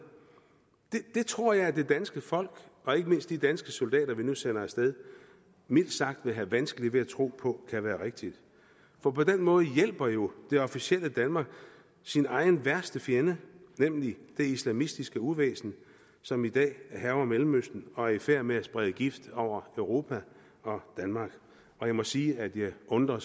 det tror jeg at det danske folk og ikke mindst de danske soldater vi nu sender af sted mildt sagt vil have vanskeligt ved at tro på kan være rigtigt for på den måde hjælper jo det officielle danmark sin egen værste fjende nemlig det islamistiske uvæsen som i dag hærger mellemøsten og er i færd med at sprede gift over europa og danmark jeg må sige at jeg undrer